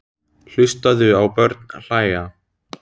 Hlustaðu á börn hlæja.